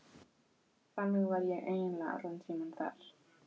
Þannig var ég eiginlega allan tímann þar.